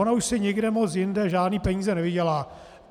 Ona už si nikde moc jinde žádné peníze nevydělá.